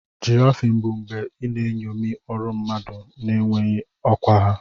Giraffing bụ mgbe ị na-eṅomi ọrụ mmadụ na-enweghị ọkwa ha.